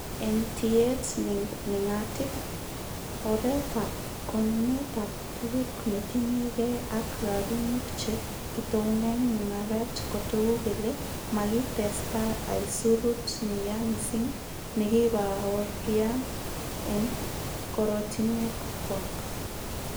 En tiyet nengatip, oretab konunetab tuguk netinye gee ak rabinik che kitounen mungaret kotogu kele makitesta aisurut neyaa missing nekikibaorian en korotinwekchwak.